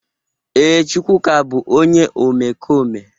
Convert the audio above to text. Ee, Chukwuka bu onye omekome.